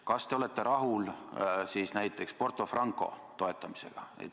Kas te olete rahul näiteks Porto Franco toetamisega?